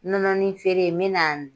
Nɔnɔnin feere n bɛ na